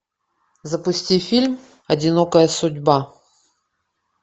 запусти фильм одинокая судьба